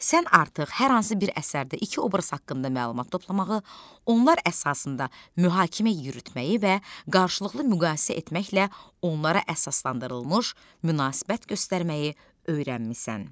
Sən artıq hər hansı bir əsərdə iki obraz haqqında məlumat toplamağı, onlar əsasında mühakimə yürütməyi və qarşılıqlı müqayisə etməklə onlara əsaslandırılmış münasibət göstərməyi öyrənmisən.